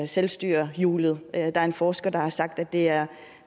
selvstyrehjulet der er en forsker der har sagt at det er